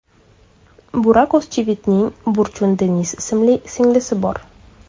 Burak O‘zchivitning Burchun Deniz ismli singlisi bor.